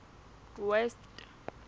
west